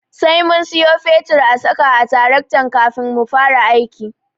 Sai mun siyo fetur a saka a taraktan kafin mu fara aiki.